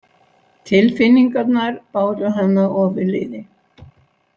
Tilfinningarnar báru hana ofurliði.